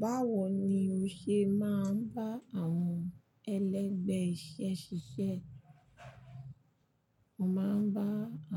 Báwo ni o ṣe máa ń bá àwọn ẹlẹgbẹ́ iṣẹ́ ṣiṣẹ́? Mo máa ń bá